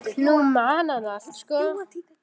Nú man hann allt.